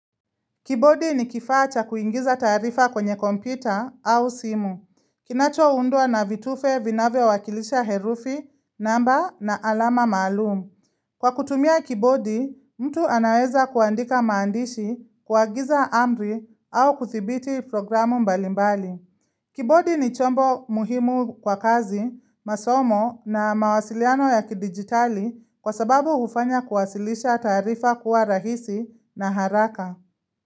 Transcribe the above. Kibodi ni kifaa cha kuingiza taarifa kwenye kompyuta au simu. Kinacho undwa na vitufe vinavyo wakilisha herufi, namba na alama maalum. Kwa kutumia kibodi, mtu anaweza kuandika maandishi kuagiza amri au kuthibiti programu mbalimbali. Kibodi ni chombo muhimu kwa kazi, masomo na mawasiliano ya kidigitali kwa sababu hufanya kuwasilisha taarifa kuwa rahisi na haraka.